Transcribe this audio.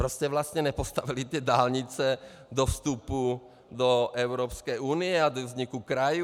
Proč jste vlastně nepostavili ty dálnice do vstupu do Evropské unie a do vzniku krajů?